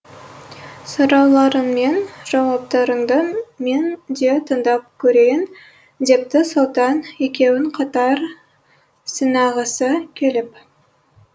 сұрауларыңмен жауаптарыңды мен де тыңдап көрейін депті сұлтан екеуін қатар сынағысы келіп